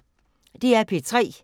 DR P3